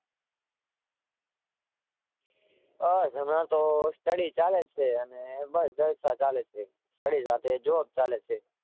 બસ હમણાં તો Study ચાલે છે. અને બસ જલસા ચાલે છે. Study સાથે Job ચાલે છે.